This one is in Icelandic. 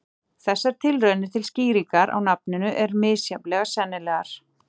Þessar tilraunir til skýringar á nafninu eru misjafnlega sennilegar.